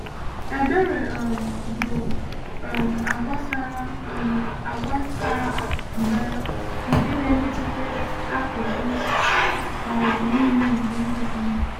Ebere um bụ um àgwà sara um àgwà sara mbara nke na-emetụta akụkụ um niile nke ndụ anyị.